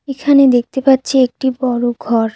এখানে দেখতে পাচ্ছি একটি বড় ঘর।